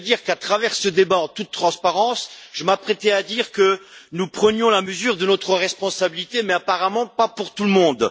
À travers ce débat en toute transparence, je m'apprêtais à dire que nous prenions la mesure de notre responsabilité, mais apparemment pas pour tout le monde.